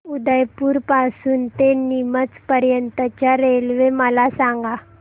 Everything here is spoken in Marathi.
उदयपुर पासून ते नीमच पर्यंत च्या रेल्वे मला सांगा